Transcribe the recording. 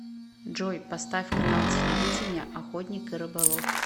джой поставь канал телевидения охотник и рыболов